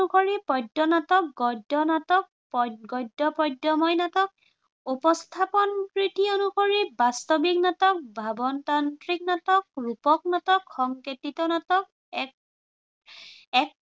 পদ্য় নাটক, গদ্য় নাটক, গদ্য় পদ্য়ময় নাটক। উপস্থাপন ৰীতি অনুসৰি বাস্তৱিক নাটক, ভাৱতান্ত্ৰিক নাটক, ৰূপক নাটক, সংকেতিত নাটক